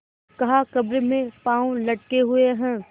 कहाकब्र में पाँव लटके हुए हैं